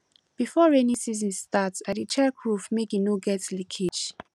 before rainy season start i dey check roof make e no get leakage